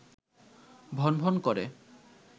ভনভন করে